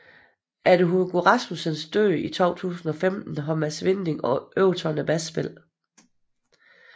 Efter Hugo Rasmussens død i 2015 har Mads Vinding overtaget basspillet